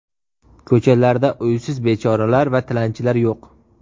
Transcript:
Ko‘chalarda uysiz bechoralar va tilanchilar yo‘q.